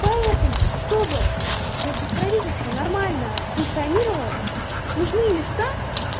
поэтому чтобы значит чтобы правительство нормально функционировало нужные места